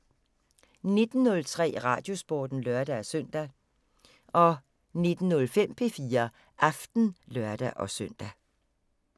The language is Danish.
19:03: Radiosporten (lør-søn) 19:05: P4 Aften (lør-søn)